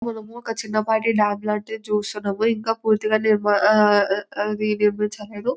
మనము ఒక చిన్నపాటి డ్యాం లాంటిది చూస్తున్నాము ఇంకా పూర్తిగా నిర్మాణము ఆ అది నిర్మించలేదు.